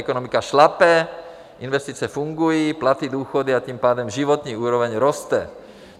Ekonomika šlape, investice fungují, platy, důchody a tím pádem životní úroveň roste.